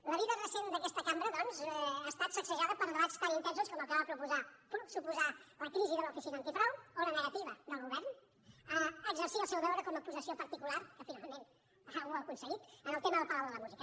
la vida recent d’aquesta cambra doncs ja estat sacsejada per debats tan intensos com el que va suposar la crisi de l’oficina antifrau o la negativa del govern a exercir el seu deure com a acusació particular que finalment algú ha aconseguit en el tema del palau de la música